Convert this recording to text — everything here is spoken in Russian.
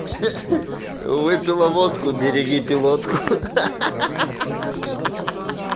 выпила водку береги пилотку